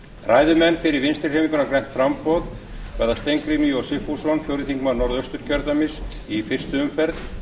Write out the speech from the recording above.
ræðumenn fyrir vinstri hreyfinguna grænt framboð verða steingrímur j sigfússon fjórði þingmaður a í fyrstu umferð